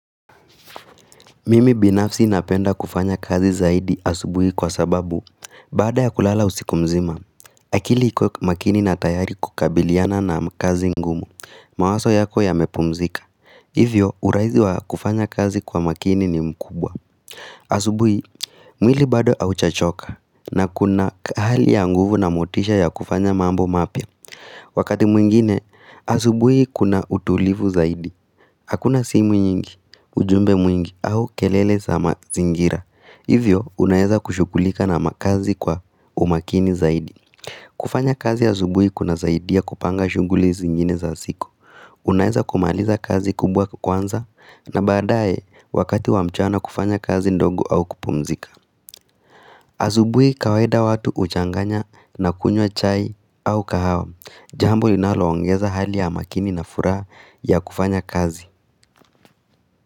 Mimi binafsi napenda kufanya kazi zaidi asubuhi kwa sababu Baada ya kulala usiku mzima akili ikiwa makini na tayari kukabiliana na kazi ngumu. Mawaso yako yamepumzika Hivyo urahizi wa kufanya kazi kwa makini ni mkubwa. Asubuhi mwili bado aujachoka na kuna hali ya nguvu na motisha ya kufanya mambo mapya Wakati mwingine asubuhi kuna utulivu zaidi Hakuna simu nyingi, ujumbe mwingi au kelele za mazingira Hivyo unaeza kushukulika na makazi kwa umakini zaidi kufanya kazi azubui kunazaidia kupanga shunguli zingine za siku Unaeza kumaliza kazi kubwa kwanza na baadae wakati wa mchana kufanya kazi ndogo au kupumzika Azubui kawaida watu huchanganya na kunywa chai au kahawa, jambo linaloongeza hali ya makini na furaha ya kufanya kazi.